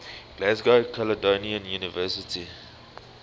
glasgow caledonian university